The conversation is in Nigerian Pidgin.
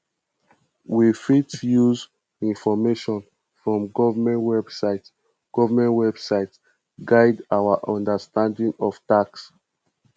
we fit use information from government website government website guide our understanding of tax